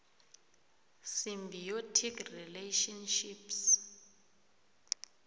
symbiotic relationships